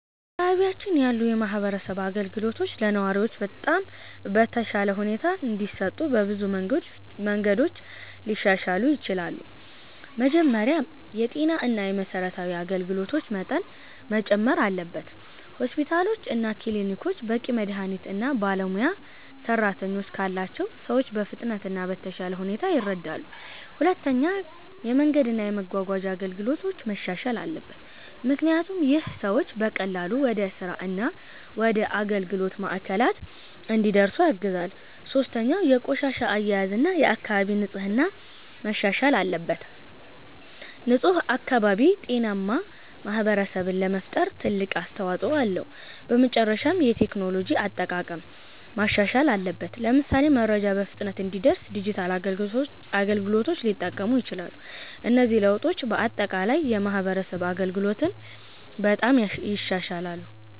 በአካባቢያችን ያሉ የማህበረሰብ አገልግሎቶች ለነዋሪዎች በተሻለ ሁኔታ እንዲሰጡ በብዙ መንገዶች ሊሻሻሉ ይችላሉ። መጀመሪያ የጤና እና የመሠረታዊ አገልግሎቶች መጠን መጨመር አለበት። ሆስፒታሎች እና ክሊኒኮች በቂ መድሀኒት እና ባለሙያ ሰራተኞች ካላቸው ሰዎች በፍጥነት እና በተሻለ ሁኔታ ይረዳሉ። ሁለተኛ የመንገድ እና የመጓጓዣ አገልግሎቶች መሻሻል አለበት፣ ምክንያቱም ይህ ሰዎች በቀላሉ ወደ ስራ እና ወደ አገልግሎት ማዕከላት እንዲደርሱ ያግዛል። ሶስተኛ የቆሻሻ አያያዝ እና የአካባቢ ንጽህና መሻሻል አለበት። ንፁህ አካባቢ ጤናማ ማህበረሰብ ለመፍጠር ትልቅ አስተዋጽኦ አለው። በመጨረሻም የቴክኖሎጂ አጠቃቀም ማሻሻል አለበት፣ ለምሳሌ መረጃ በፍጥነት እንዲደርስ ዲጂታል አገልግሎቶች ሊጠቀሙ ይችላሉ። እነዚህ ለውጦች በአጠቃላይ የማህበረሰብ አገልግሎትን በጣም ይሻሻላሉ።